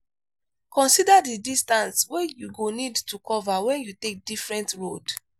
consider di distance wey you go need to cover when you take different road